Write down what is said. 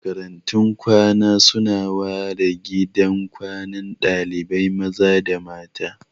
Makarantun kwana su na ware gidan kwanan dalibai maza da na mata